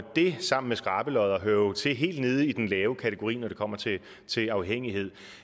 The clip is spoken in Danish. det sammen med skrabelodder hører jo til helt nede i den lave kategori når det kommer til afhængighed